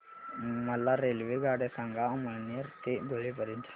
मला रेल्वेगाड्या सांगा अमळनेर ते धुळे पर्यंतच्या